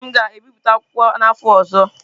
Ee, m ga-ebipụta otú akwụkwọ n'afọ ọzọ.